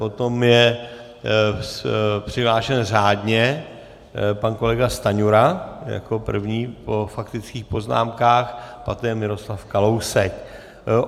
Potom je přihlášen řádně pan kolega Stanjura jako první po faktických poznámkách, poté Miroslav Kalousek.